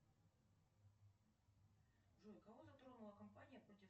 джой кого затронула компания против